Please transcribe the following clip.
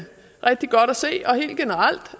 rigtig godt at se og helt generelt